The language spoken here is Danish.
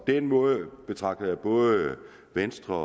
den måde betragter jeg både venstres